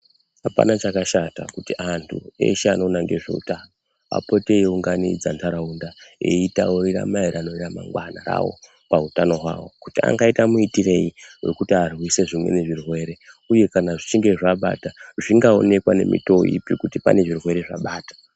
Apana chakashata kuti antu eshe anoona ngezve utano apote eyi unganidza ndaraunda eyi taurira maererano ra mangwana rawo pa utano hwawo kuti angaita mu itirei hwekuti arwise zvimweni zvirwere uye kana zvichinge zva abata zvinga onekwa ne mitowo ipi kuti pane zvirwere zvabata.